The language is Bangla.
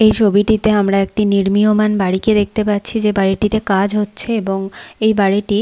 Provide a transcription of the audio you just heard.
এই ছবিটিতে আমরা একটি নির্মীয়মাণ বাড়িকে দেখতে পাচ্ছি যে বাড়িটিতে কাজ হচ্ছে এবং এই বাড়িটি--